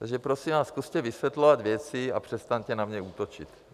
Takže prosím vás, zkuste vysvětlovat věci a přestaňte na mě útočit.